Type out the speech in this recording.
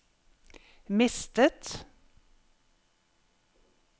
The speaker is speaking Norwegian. mistet